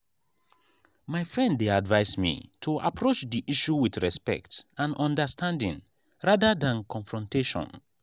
my friend dey advise me to approach the issue with respect and understanding rather than confrontation.